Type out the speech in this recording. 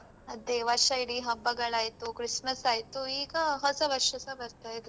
ಅದೇ ವರ್ಷ ಇಡೀ ಹಬ್ಬಗಳಾಯ್ತು, ಕ್ರಿಸ್ಮಸ್ ಆಯ್ತು ಈಗ ಹೊಸ ವರ್ಷಸ ಬರ್ತಾ ಇದೆ.